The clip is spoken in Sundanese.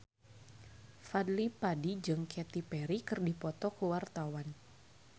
Fadly Padi jeung Katy Perry keur dipoto ku wartawan